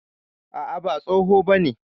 A'a, ba tsoho bane.